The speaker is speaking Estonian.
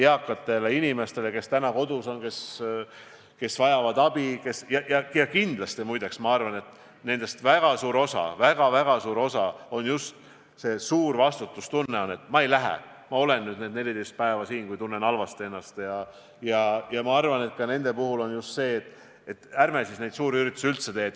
Eakatele inimestele, kes täna kodus on ja kes abi vajavad – ja kindlasti, muide, ma arvan on siin väga suur osa just sellel suurel vastutustundel, et ma ei lähe välja, ma olen nüüd need 14 päeva siin, kui tunnen ennast halvasti –, ma arvan, et ka nende puhul on oluline just see, et ärme siis neid suuri üritusi üldse teeme.